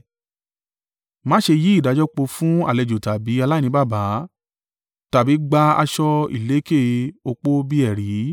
Má ṣe yí ìdájọ́ po fún àlejò tàbí aláìní baba, tàbí gba aṣọ ìlekè opó bí ẹ̀rí.